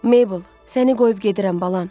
Meybel, səni qoyub gedirəm, balam.